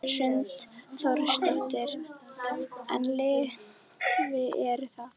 Hrund Þórsdóttir: En lyfin eru það?